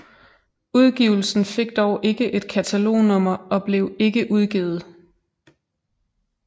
Udgivelsen fik dog ikke et katalognummer og blev ikke udgivet